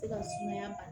Se ka sumaya